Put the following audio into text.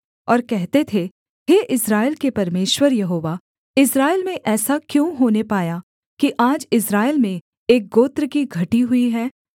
और कहते थे हे इस्राएल के परमेश्वर यहोवा इस्राएल में ऐसा क्यों होने पाया कि आज इस्राएल में एक गोत्र की घटी हुई है